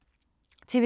TV 2